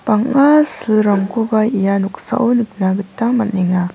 banga silrangkoba ia noksao niknagita manenge.